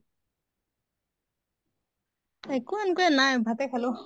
একো এনকা নাই, ভাতে খালো